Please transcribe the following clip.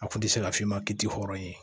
A kun tɛ se ka f'i ma ki tɛ hɔrɔn ye